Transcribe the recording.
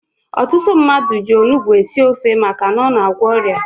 Ọtụtụ mmadụ ji onugbu esi ofe maka na ọ na-agwọ ọrịa.